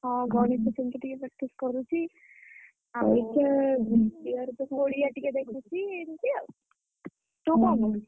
ହଁ ଗଣିତ ସେମିତି ଟିକେ practice କରୁଛି।